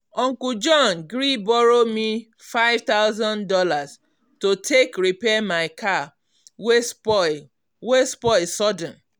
uncle john gree borrow me five thousand dollars to take repair my car wey spoil wey spoil sudden.